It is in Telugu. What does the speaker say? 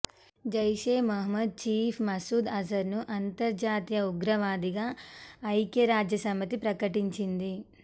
జైషే మహ్మద్ చీఫ్ మసూద్ అజర్ను అంతర్జాతీయ ఉగ్రవాదిగా ఐక్యరాజ్యసమితి ప్రకటించింది